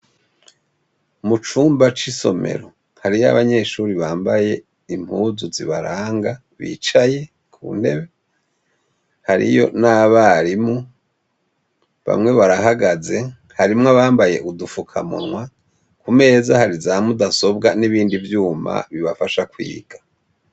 Mu cumba c'isomero, hariyo abanyeshuri bambaye impuzu zibaranga bicaye ku ntebe hariyo n'abarimu bamwe barahagaze harimwo bambaye udufukamunwa kumeza hari za mudasobwa n'ibindi vyuma bibafasha kwiga.